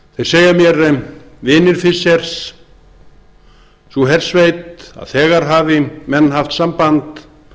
þeir segja mér vinir fischers sú hersveit að þegar hafi menn haft samband